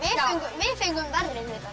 við fengum verri